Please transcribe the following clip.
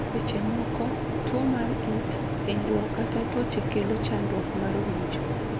Seche moko, tuwo mar it, hinyruok kata tuoche kelo chandruok mar winjo